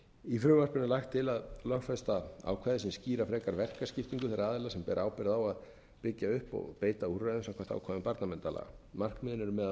í frumvarpinu er lagt til að lögfesta ákvæði sem skýra frekar verkaskiptingu þeirra aðila sem bera ábyrgð á að byggja upp og beita úrræðum samkvæmt ákvæðum barnaverndarlaga markmiðið er meðal